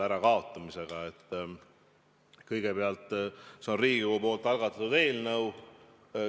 Esiteks, see on Riigikogu algatatud eelnõu.